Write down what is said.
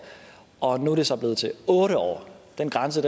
og nu er det så blevet til otte år den grænse